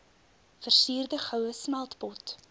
versierde goue smeltpot